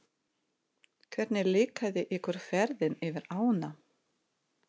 Hvernig líkaði ykkur ferðin yfir ánna?